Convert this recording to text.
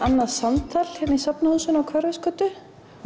annað samtal hér í Safnahúsinu Hverfisgötu